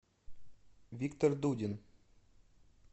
виктор дудин